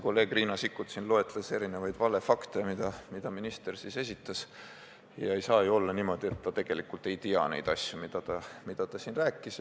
Kolleeg Riina Sikkut loetles siin erinevaid valefakte, mida minister esitas, ja ei saa ju olla niimoodi, et ta tegelikult ei tea neid asju, mida ta siin rääkis.